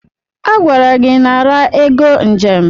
Agwara gị nara ego njem!